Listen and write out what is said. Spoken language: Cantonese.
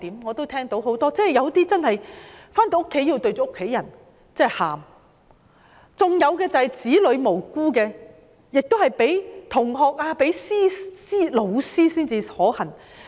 我們聽說有些警員在回家後對着家人哭，有些警員的無辜子女在學校被同學及甚至老師欺凌。